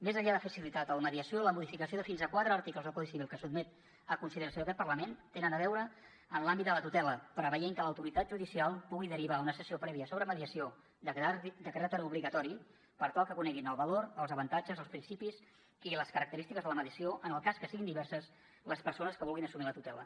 més enllà de facilitar la mediació la modificació de fins a quatre articles del codi civil que es sotmet a consideració d’aquest parlament tenen a veure amb l’àmbit de la tutela en preveure que l’autoritat judicial pugui derivar una sessió prèvia sobre mediació de caràcter obligatori per tal que coneguin el valor els avantatges els principis i les característiques de la mediació en el cas que siguin diverses les persones que vulguin assumir la tutela